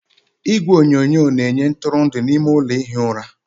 Igwe onyonyo na-enye ntụrụndụ n'ime ime ụlọ ihi ụra.